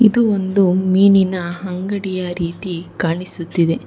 ಇದು ಒಂದು ಮೀನಿನ ಅಂಗಡಿಯ ರೀತಿ ಕಾಣಿಸುತ್ತಿದೆ.